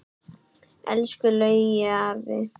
Elsku Laugi afi.